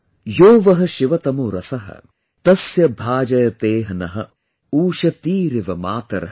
यो वः शिवतमो रसः, तस्य भाजयतेह नः, उषतीरिव मातरः |